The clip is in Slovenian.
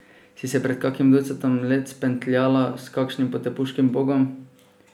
Si se pred kakim ducatom let spentljala s kakim potepuškim bogom?